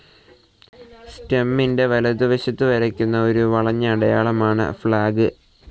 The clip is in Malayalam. സ്റ്റമിൻ്റെ വലതുവശത്തു വരയ്ക്കുന്ന ഒരു വളഞ്ഞ അടയാളമാണ് ഫ്‌ളാഗ്.